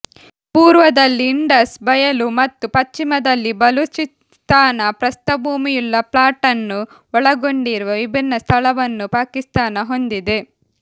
ಪೂರ್ವದಲ್ಲಿ ಇಂಡಸ್ ಬಯಲು ಮತ್ತು ಪಶ್ಚಿಮದಲ್ಲಿ ಬಲೂಚಿಸ್ಥಾನ ಪ್ರಸ್ಥಭೂಮಿಯುಳ್ಳ ಫ್ಲಾಟ್ ಅನ್ನು ಒಳಗೊಂಡಿರುವ ವಿಭಿನ್ನ ಸ್ಥಳವನ್ನು ಪಾಕಿಸ್ತಾನ ಹೊಂದಿದೆ